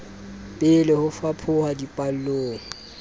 be le ho fapoha dipallong